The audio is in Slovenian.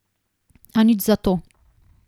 A nič zato.